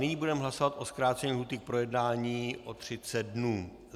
Nyní budeme hlasovat o zkrácení lhůty k projednání o 30 dnů.